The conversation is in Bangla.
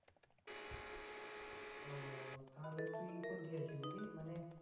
ও তাহলে তুই নাকি মানে